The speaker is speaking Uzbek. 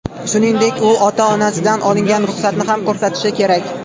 Shuningdek, u ota-onasidan olingan ruxsatni ham ko‘rsatishi kerak.